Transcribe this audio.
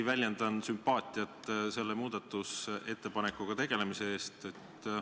Väljendan samuti sümpaatiat selle muudatusettepanekuga tegelemise vastu.